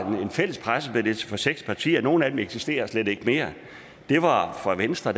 en fælles pressemeddelelse fra seks partier og nogle af dem eksisterer slet ikke mere fra venstre